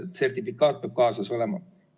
Sertifikaat peab kaasas olema.